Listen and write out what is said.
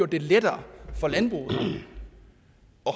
det lettere for landbruget at